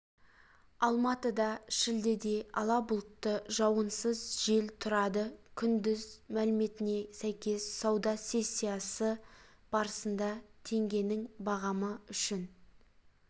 алматыда шілдеде ала бұлтты жауынсыз жел тұрады күндіз мәліметіне сәйкес сауда сессиясы барысында теңгенің бағамы үшін